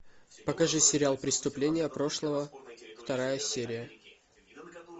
покажи сериал преступления прошлого вторая серия